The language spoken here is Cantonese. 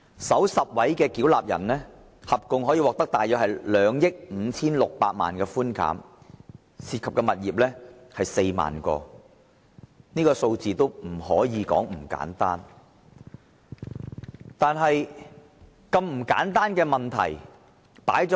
首10位差餉繳納人獲寬減的稅款合共約為2億 5,600 萬元，涉及的物業則有 40,000 個，這數字可不簡單。